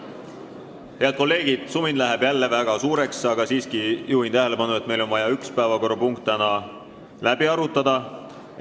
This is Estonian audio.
Head kolleegid, sumin läheb jälle väga suureks, aga ma juhin tähelepanu, et meil on vaja üks päevakorrapunkt täna läbi arutada.